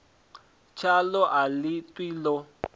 tshaḽo a ḽi ṱwi ḽi